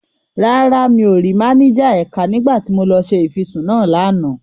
Rárá, mi ò rí máníjà ẹ̀ka nígbà tí mo lọ ṣe ìfisùn náà lánàá.